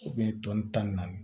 tɔn tan ni naani